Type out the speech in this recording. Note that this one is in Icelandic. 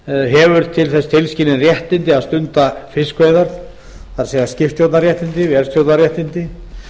hefur til þess tilskilin réttindi að stunda fiskveiðar það er skipstjórnarréttindi vélstjórnarréttindi